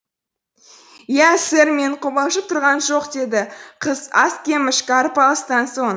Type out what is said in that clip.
иә сэр мен қобалжып тұрғам жоқ деді қыз аз кем ішкі арпалыстан соң